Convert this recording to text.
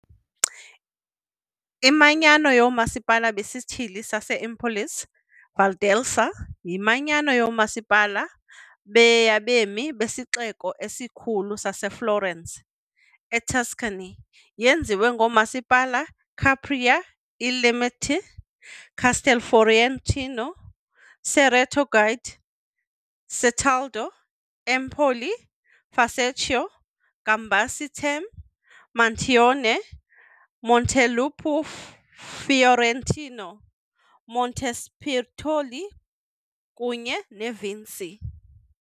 IManyano yooMasipala beSithili sase-Empolese Valdelsa yimanyano yoomasipala be yabemi besixeko esikhulu saseFlorence, eTuscany. Yenziwe ngoomasipala- Capraia e Limite, Castelfiorentino, Cerreto Guidi, Certaldo, Empoli, Fucecchio, Gambassi Terme, Montaione, Montelupo Fiorentino, Montespertoli kunye Vinci.